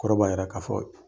Kɔrɔ b'a yira k'a fɔ